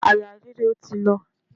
Àyà ríro ti lọ.